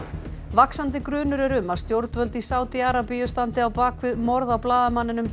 vaxandi grunur er um að stjórnvöld í Sádi Arabíu standi á bak við morð á blaðamanninum